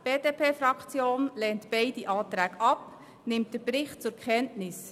Die BDP-Fraktion lehnt beide Anträge ab und nimmt den Bericht zur Kenntnis.